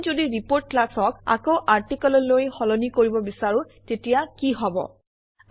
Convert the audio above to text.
আমি যদি report class -অক আকৌ আৰ্টিকেল অলৈ সলনি কৰিব বিচাৰোঁ তেতিয়া কি হব160